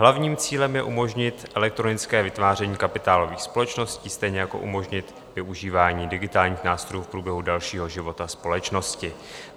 Hlavním cílem je umožnit elektronické vytváření kapitálových společností, stejně jako umožnit využívání digitálních nástrojů v průběhu dalšího života společnosti.